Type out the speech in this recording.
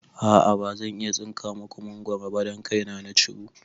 A'a bazan iya tsinka maku mangoro ba don kai na na ciwo